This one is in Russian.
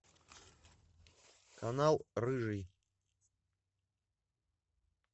канал рыжий